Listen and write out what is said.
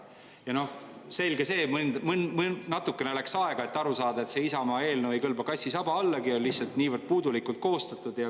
Ja noh, selge see, et natuke läks aega, et aru saada, et see Isamaa eelnõu ei kõlba kassi saba allagi, sest on lihtsalt niivõrd puudulikult koostatud.